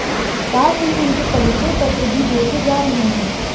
साथ ही उनके परिचय पत्र भी देखे जा रहे हैं